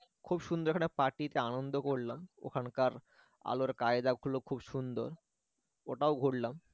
খুব সুন্দর ওখানে party তে আনন্দ করলাম ওখানকার আলোর কায়দাগুলো খুব সুন্দর ওটাও ঘুরলাম